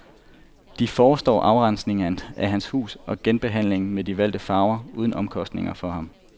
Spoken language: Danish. De forestår afrensning af hans hus og genbehandling med de valgte farver uden omkostninger for ham.